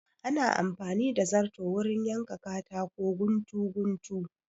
Ana amfani da zarto wurin yanka katako guntu guntu